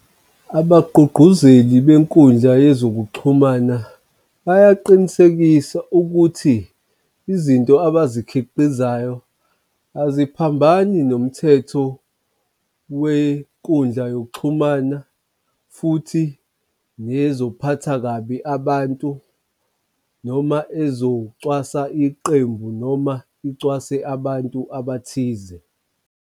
Abagqugquzeli benkundla yezokuxhumana bayaqinisekisa ukuthi izinto abazikhiqizayo aziphambani nomthetho wenkundla yokuxhumana futhi nezophatha kabi abantu, noma ezocwasa iqembu noma iwcase abantu abathize.